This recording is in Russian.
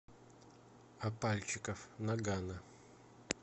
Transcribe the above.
а пальчиков ноггано